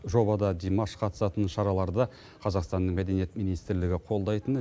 жобада димаш қатысатын шараларды қазақстанның мәдениет министрлігі қолдайтыны